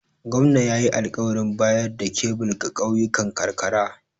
Gwamna ya yi alƙawarin bayar da kebil ga ƙauyukan karkara.